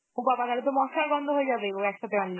ও বাবা তাহলেতো মসলার গন্ধ হয়ে যাবে ও একসাথে আনলে.